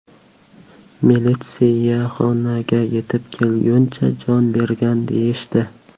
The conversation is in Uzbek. Militsiyaxonaga yetib kelguncha, jon bergan, deyishdi.